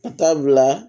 Ka taa bila